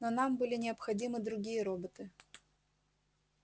но нам были необходимы другие роботы